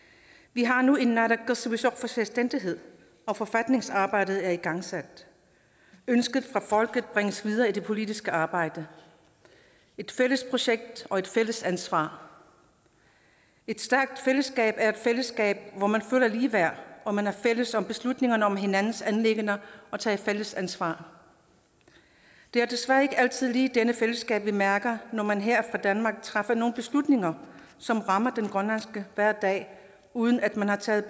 vi har nu en selvstændighed og forfatningsarbejdet er igangsat ønsker fra folket bringes videre i det politiske arbejde et fælles projekt og et fælles ansvar et stærkt fællesskab er et fællesskab hvor man føler ligeværd og man er fælles om beslutningerne om hinandens anliggender og tager fælles ansvar det er desværre ikke altid lige det fællesskab vi mærker når man her fra danmark træffer nogle beslutninger som rammer den grønlandske hverdag uden at man har taget